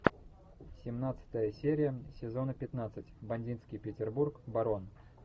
семнадцатая серия сезона пятнадцать бандитский петербург барон